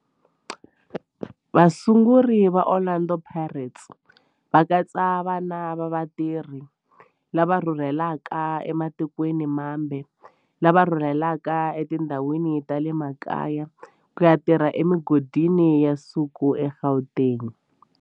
Vasunguri va Orlando Pirates va katsa vana va vatirhi lava rhurhelaka ematikweni mambe lava rhurheleke etindhawini ta le makaya ku ya tirha emigodini ya nsuku eGauteng.